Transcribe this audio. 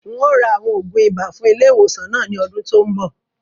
Ń o ra àwọn oògùn ibà fún ilé ìwòsàn náà ni ọdún tòun bọ̀